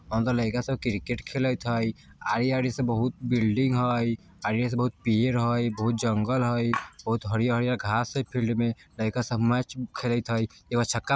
अंदर लइका सब क्रिकेट खेलैत हई आरी-आरी से बहुत बिल्डिंग हई आरी-आ से बहुत पेड़ हई बहुत जंगल हई बहुत हरियर-हरियर घास हई फिल्ड में लइका सब मैच खेलैत हई एक बेर छक्का --